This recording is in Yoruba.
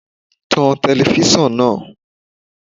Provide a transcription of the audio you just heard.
Tan telifíṣàn náà.